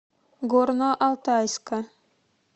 горно алтайска